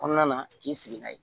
Kɔnɔna na k'i sigi n'a ye